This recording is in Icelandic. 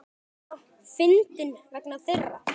Minna fyndinn vegna þeirra.